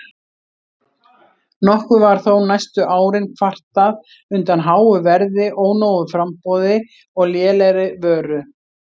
Nokkuð var þó næstu árin kvartað undan háu verði, ónógu framboði og lélegri vöru.